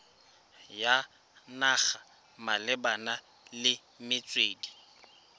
ya naga malebana le metswedi